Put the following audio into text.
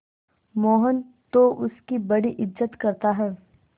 मोहन तो उसकी बड़ी इज्जत करता है